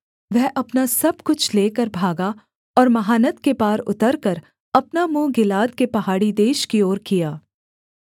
वह अपना सब कुछ लेकर भागा और महानद के पार उतरकर अपना मुँह गिलाद के पहाड़ी देश की ओर किया